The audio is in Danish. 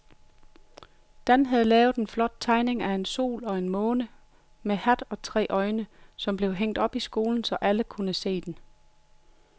Dan havde lavet en flot tegning af en sol og en måne med hat og tre øjne, som blev hængt op i skolen, så alle kunne se den.